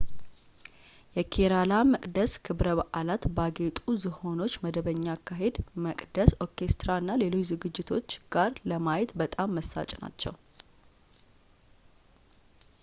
የኬራላ መቅደስ ክብረ በዓላት ባጌጡ ዝሆኖች መደበኛ አካሄድ መቅደስ ኦርኬስትራ እና ሌሎች ዝግጅቶች ጋር ለማየት በጣም መሳጭ ናቸው